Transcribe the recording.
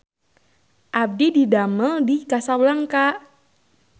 Abdi didamel di Casablanca